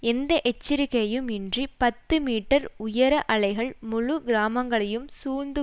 எந்த எச்சரிக்கையும் இன்றி பத்து மீட்டர்கள் உயர அலைகள் முழு கிராமங்களை சூழ்ந்து